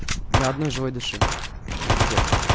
ни одной живой души это пиздец